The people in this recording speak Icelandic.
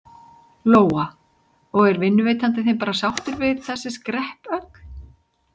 Lóa: Og er vinnuveitandi þinn bara sáttur við þessi skrepp öll?